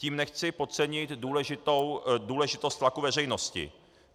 Tím nechci podcenit důležitost tlaku veřejnosti.